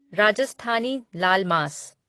राजस्थानी लाल मास